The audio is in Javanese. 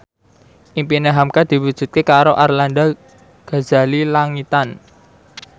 impine hamka diwujudke karo Arlanda Ghazali Langitan